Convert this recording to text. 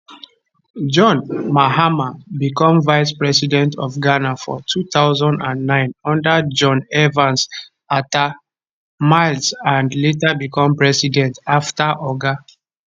john mahama become vice president of ghana for 2009 under john evans atta mills and later become president afta oga